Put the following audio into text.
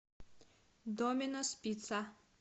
доминос пицца